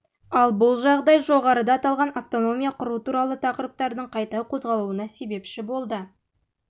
ал бұл жағдай жоғарыда аталған автономия құру туралы тақырыптардың қайта қозғалуына себепші болды